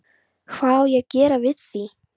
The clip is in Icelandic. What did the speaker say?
Hvað á ég að gera við því?